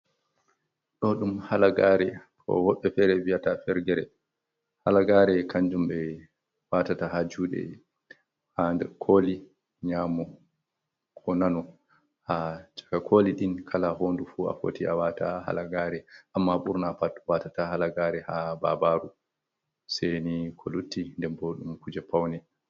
Ɗo ɗum halagaare. Woɓɓe feere wiyata fergere. Halagaare kanjum ɓe waatata haa juuɗe, haa nder kooli nƴamo ko nano. Haa chaka kooli ɗin kala hoɲdu fu a foti a waata halagaare, amma ɓurna pat watata halagaare haa babaru, sai ni ko lutti. Nden bo ɗum kuje paune.